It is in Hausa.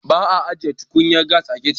ba a ajiye tukunyar gas a kicin